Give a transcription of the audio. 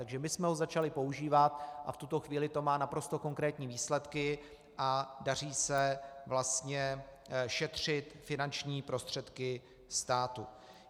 Takže my jsme ho začali používat a v tuto chvíli to má naprosto konkrétní výsledky a daří se vlastně šetřit finanční prostředky státu.